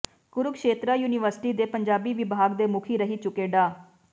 Kurukshetra university ਦੇ ਪੰਜਾਬੀ ਵਿਭਾਗ ਦੇ ਮੁਖੀ ਰਹਿ ਚੁੱਕੇ ਡਾ